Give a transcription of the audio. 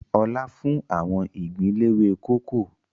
Ọlá fún àwọn ìgbín léwé kókò